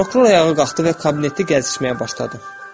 Prokuror ayağa qalxdı və kabineti gəzişməyə başladı.